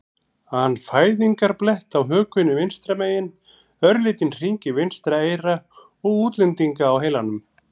an fæðingarblett á hökunni vinstra megin, örlítinn hring í vinstra eyra og útlendinga á heilanum.